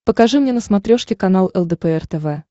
покажи мне на смотрешке канал лдпр тв